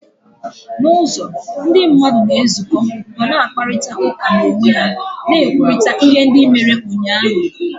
N'ụzọ, ndị mmadụ na-ezukọ ma na-akparịta ụka n'onwe ha, na-ekwurịta ihe ndị mere ụnyaahụ.